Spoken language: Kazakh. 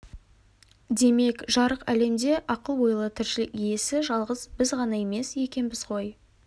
демек жарық әлемде ақыл-ойлы тіршілік иесі жалғыз біз ғана емес екенбіз ғой